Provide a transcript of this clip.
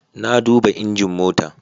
Na duba injin mota